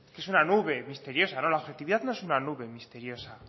es una nube misteriosa no la objetividad no es una nube misteriosa